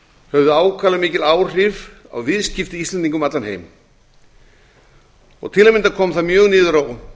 höfðu ákaflega mikil áhrif á viðskipti íslendinga um allan heim til að mynda kom það mjög niður á